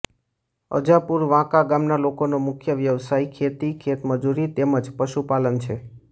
અજાપુર વાંકા ગામના લોકોનો મુખ્ય વ્યવસાય ખેતી ખેતમજૂરી તેમ જ પશુપાલન છે